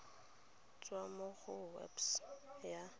tswa mo go website ya